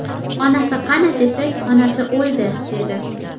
Onasi qani desak, onasi o‘ldi, dedi.